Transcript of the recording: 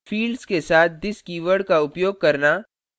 fields के साथ this keyword का उपयोग करना